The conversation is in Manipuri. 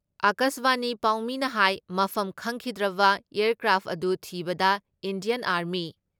ꯑꯀꯥꯁꯕꯥꯅꯤ ꯄꯥꯎꯃꯤꯅ ꯍꯥꯏ ꯃꯐꯝ ꯈꯪꯈꯤꯗ꯭ꯔꯕ ꯑꯦꯌꯥꯔꯀ꯭ꯔꯥꯐ ꯑꯗꯨ ꯊꯤꯕꯗ ꯏꯟꯗꯤꯌꯥꯟ ꯑꯥꯔꯃꯤ,